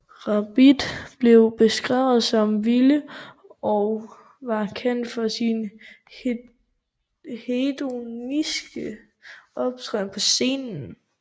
Rabbit blev beskrevet som vilde og var kendt for sin hedonistiske optræden på scenen